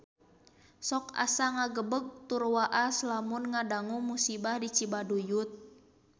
Sok asa ngagebeg tur waas lamun ngadangu musibah di Cibaduyut